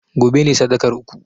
gobe ne sadakar uku!